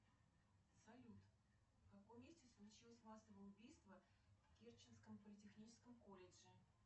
салют в каком месте случилось массовое убийство в керченском политехническом колледже